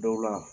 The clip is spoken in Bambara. Dɔw la